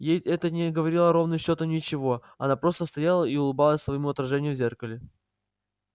ей это не говорило ровным счётом ничего она просто стояла и улыбалась своему отражению в зеркале